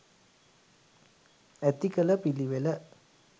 ඇති කළ පිළිවෙල.